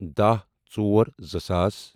داہ ژور زٕ ساس